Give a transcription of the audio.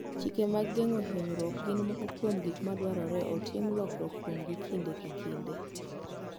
Chike mag geng'o hinyruok gin moko kuom gik madwarore otim lokruok kuomgi kinde ka kinde.